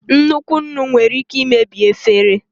Nnukwu nnu nwere ike imebi efere.